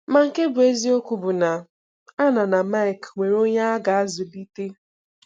Ma nke bụ́ eziokwu bụ na Anna na Mike nwere onye ha ga-azụlite.